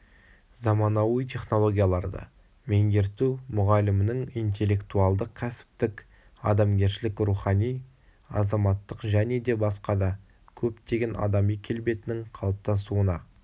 заманауи технологияларды меңгерту мұғалімнің интелектуалдық кәсіптік адамгершілік рухани азаматтық және де басқа да көптеген адами келбетінің қалыптасуына